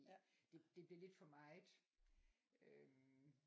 Det blev lidt for meget øh